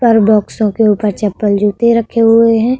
पर बोक्सो के ऊपर चपल जूते रखे हुए हैं।